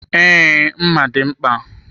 Ee, mma dị mkpa.